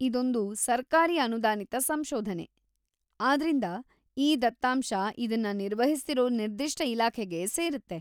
ಇದೊಂದು ಸರ್ಕಾರಿ ಅನುದಾನಿತ ಸಂಶೋಧನೆ ಆದ್ರಿಂದಾ, ಈ ದತ್ತಾಂಶ ಇದನ್ನ ನಿರ್ವಹಿಸ್ತಿರೋ ನಿರ್ದಿಷ್ಟ ಇಲಾಖೆಗೆ ಸೇರುತ್ತೆ.